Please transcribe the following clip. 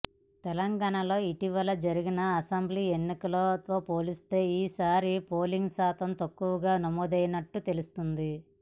తెలంగాణలో ఇటీవల జరిగిన అసెంబ్లీ ఎన్నికలతో పోలిస్తే ఈసారి పోలింగ్ శాతం తక్కువగా నమోదైనట్టు తెలుస్తోంది